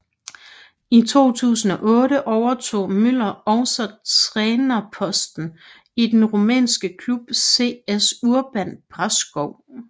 I 2008 overtog Müller også trænerposten i den rumænske klub CS Urban Brașov